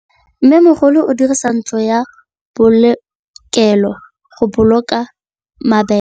Mmêmogolô o dirisa ntlo ya polokêlô, go boloka mabele.